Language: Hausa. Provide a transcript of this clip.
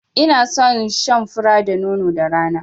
I na son shan fura da nono da rana